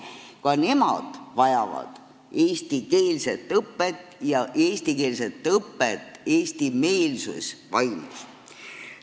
Ka nemad vajavad eestikeelset õpet ja seda eestimeelses vaimus.